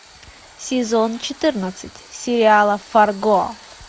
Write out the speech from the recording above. сезон четырнадцать сериала фарго